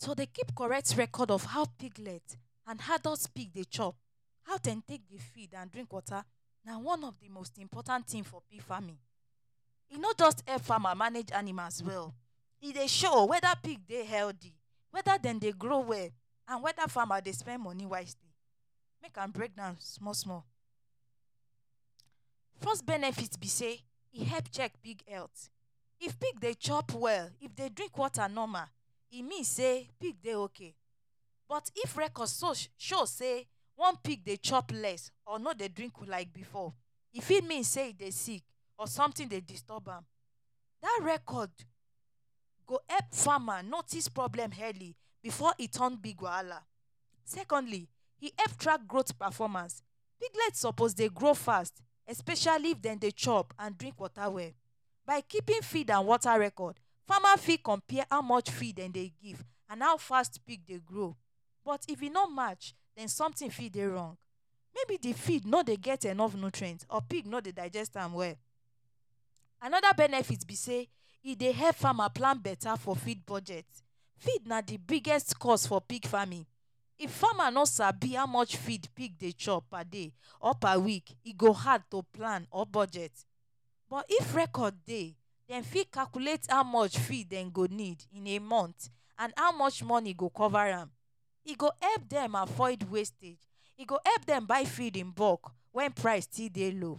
To dey keep correct record of how piglet and adult pig dey chop, how dem take dey feed and drink water, na one of di most important tin for pig farming. E no just help farmer manage animals well, e dey show weda pig dey healthy, weda dem dey grow well and weda farmer dey spend moni wisely. Make I break am small small. First benefit be say e help check pig health. If pig dey chop well, if dem dey drink water normal, e mean say pig dey okay. But if record show say one pig dey chop less or no dey drink like before, e fit mean say e dey sick or somtin dey disturb am. Dat record go help farmer notice problem early before e come big wahala. Secondly, e help track growth performance. Piglet suppose dey grow fast, especially if dem dey chop and drink water well. By keeping feed and water record, farmer fit compare how much feed dem dey give and how fast pig dey grow. But if e no match, somtin fit dey wrong maybe di feed no dey get enough nutrient or pig no dey digest am well. Anoda benefit be say e dey help farmer plant betta for feed budget. Feed na di biggest cost for pig farming. If farmer no sabi how much feed pig dey chop per day or per week, e go hard to plant or budget for. If record dey, dem fit calculate how much feed dem go need in a month and how much moni go cover am. E go help dem avoid wastage, e go help dem buy feed in bulk when price still dey low.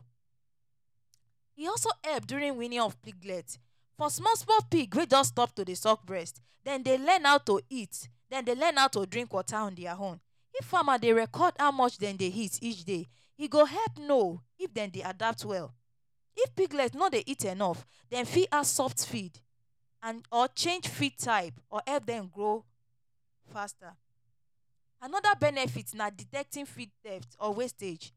E also help during weaning of piglet. For small small pig wey just stop to dey suck breast, dem dey learn how to eat, dem dey learn how to drink on dia own. If farmer dey record how much dem dey eat each day, e go help know if dem dey adapt well. If piglets no dey eat enough, dem fit add soft feed or change feed type to help dem grow faster. Anoda benefit na detecting feed theft or wastage.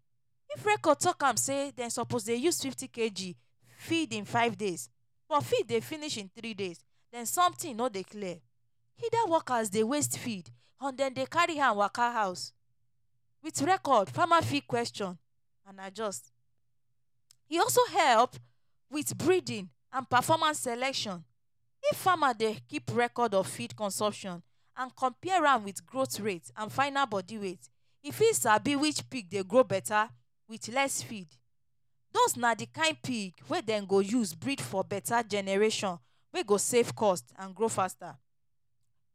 If record tok say dem suppose dey use fifty kg feed in five days but feed dey finish in three days, den somtin no dey clear. Either workers dey waste feed or dem dey carry am waka house. Wit record, farmer fit question and adjust. E also help wit breeding and performance selection. If farmer dey keep record of feed consumption and compare am wit growth rate and final body weight, e fit sabi which pig dey grow betta wit less feed. Dose na di kain pig wey dem go use breed for betta generation wey go save cost and grow faster.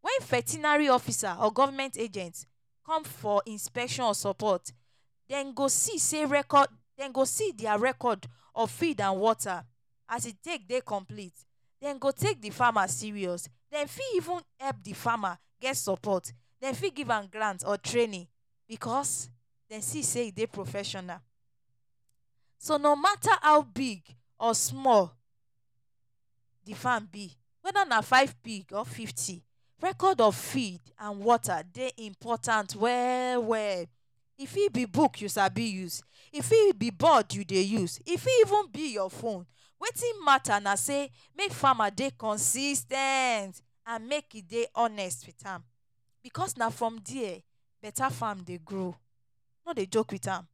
Wen vetinary officer or Government agent come for inspection or support, dem go see say record dem go see dia record of feed and water as e take dey complete. Dem go take di farmer serious. Dem fit even help di farmer get support, dem fit give am grants or training because dem see say e dey professional. So no mata how big or small di farm be weda na five pig or fifty, record of feed and water dey important well well. E fit be book you sabi use, e fit be board you dey use, e fit even be your phone. Wetin mata na say make farmer dey consis ten t and make e dey honest wit am, bicos na from dia betta farm dey grow. No dey joke wit am.